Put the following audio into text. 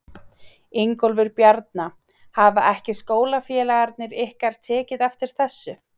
Ingólfur Bjarni: Hafa ekki skólafélagarnir ykkar tekið eftir þessu?